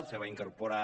se va incorporar